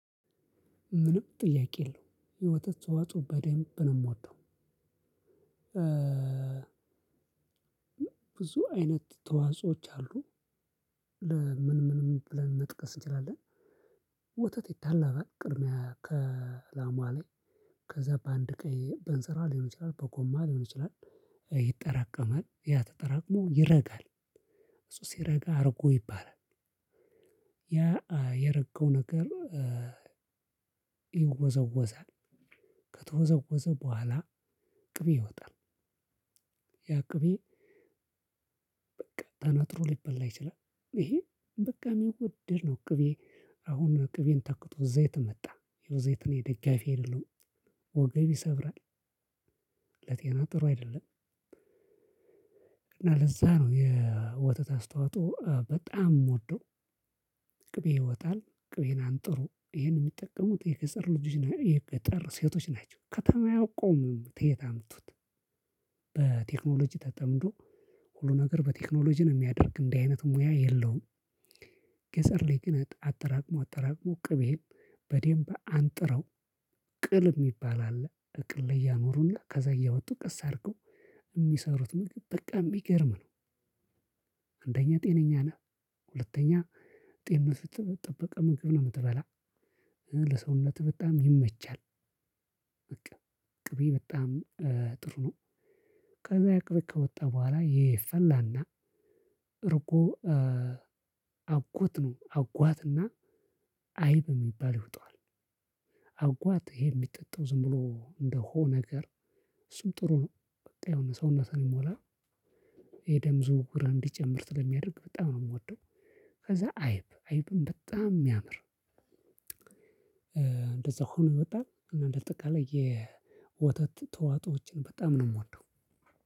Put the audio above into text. ምንም ጥያቄ የለውም የወተት ተዎጾ በደንብ ነው የምወደው። ብዙ አይነት ተዋጾዎች አሉ ምን ምን ምን ብለን መጥቀስ እንችላለን። ወተት ይታለባል ቅድሚያ ከላሟ ላይ ከዛ በአንድ ቀን እንስራ ሊሆን ይችላል በጎማ ሊሆን ይችላል። ይጠራቀማል ያ ተጠራቅሞ ይረጋል እሱ ይረጋ ሁርጎ ይባላል ያ የረገው ነገር ይወዘወዛል። ከተወዘወዘ በኋላ ቅቤ እወጣል ያ ቅቤ በቃ ተነጥሮ ሊበላ ይችላል ይሄ በቃ የሚወደድ ነው ቅቤ አሁን ቅቤን ተክቶ ዘይት መጣ ዘይትን የደጋፊ የለውም ወገብ ይሰብራል። ለጤና ጥሩ አይደለም እና ለዛ ነው የወተት አስታዎጾ በጣም የምወደው ቅቤ ይወጣል ቅቤን አንጥሮ ይሄን የሚጠቀሙት የገጠር ልጆች የገጠር ሴቶች ናቸው ከተማ ያውቁም ተየት አምጡት። በቴክኖሎጂ ተጠምዶ ሁሉ ነገር በቴክኖሎጂ የሚያደርግ እንደዚህ አይነት ሙያ የለውም ገጠር ላይ ግን አጠራቅሞ አጠራቅሞ ቅቤም በዴንብ አንጥረው ቅል የሚባል አለ በቅል ላይ ያኖሩና ከዛ እያወጡ ቀስ አድርገው የሚሰሩት ምግብ በቃ የሚገርም ነው አንደኛ ጤነኛ ነህ ሁለተኛ ጤንነቱ የተጠበቀ ምግብ ነው የምትበላ ለሰውነት በጣም ይመቻል በቃ ቅቤ በጣም ጥሩ ነው ከዛ ያ ቅቤ ከወጣ በኋላ ይፈላና እርጎ አጉት ነው አጓትና አይብ የሚባል ይውጣዋል አጓት ይሄ የሚጠጣው ዝም ብሎ እንደሆ ነገር እሱም ጥሩ ነው በጣም የሆነ ሰውነትን ይሞላ የደም ዝውውር እንዲጨምር ስለሚያደርግ በጣም ነው የምወደው ከዛ አይብ አይብም በጣም የሚያምር እንደዛ ሆኖ እወጣል እና እንደ ጠቃላይ የወተት ተዋጾዎችን በጣም ነው የምወደው።